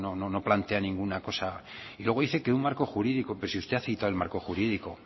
o sea no plantea ninguna cosa luego dice que un marco jurídico pero si usted ha citado el marco jurídico